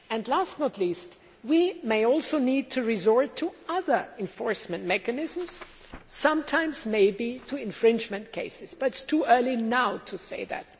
Last but not least, we may also need to resort to other enforcement mechanisms sometimes maybe to infringement cases, but it is too early now to say that.